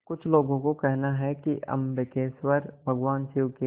कुछ लोगों को कहना है कि अम्बकेश्वर भगवान शिव के